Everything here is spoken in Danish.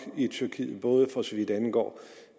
i tyrkiet både for så vidt angår